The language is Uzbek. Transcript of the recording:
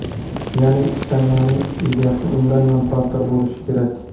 Ya’ni ishlanmaning egasi undan manfaatdor bo‘lishi kerak.